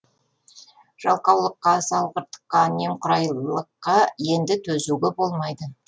жалқаулыққа салғырттыққа немқұрайлыққа енді төзуге болмайды